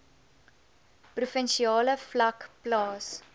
provinsiale vlak plaas